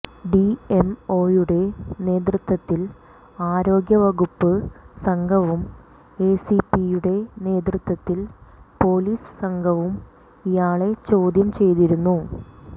ഡിഎംഒയുടെ നേതൃത്വത്തിൽ ആരോഗ്യവകുപ്പ് സംഘവും എസിപിയുടെ നേതൃത്വത്തിൽ പൊലീസ് സംഘവും ഇയാളെ ചോദ്യം ചെയ്തിരുന്നു